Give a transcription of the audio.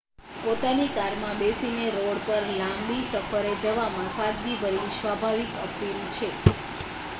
પોતાની કારમાં બેસીને રોડ પર લાંબી સફરે જવામાં સાદગીભરી સ્વાભાવિક અપીલ છે